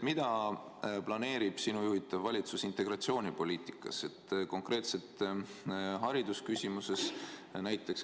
Mida planeerib sinu juhitav valitsus integratsioonipoliitikas, konkreetselt haridusküsimuses, näiteks?